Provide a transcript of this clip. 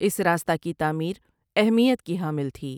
اس راستہ کی تعمیر اہمیت کی حامل تھی ۔